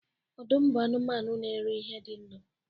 Ọdụm bụ anụmanụ na-eri ihe dị ndụ